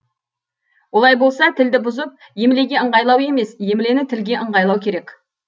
олай болса тілді бұзып емлеге ыңғайлау емес емлені тілге ыңғайлау керек